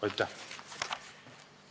Aitäh!